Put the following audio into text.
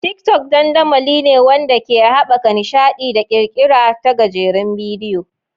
TikTok dandamali ne wanda ke haɓaka nishaɗi da ƙirƙira ta gajerun bidiyoyi.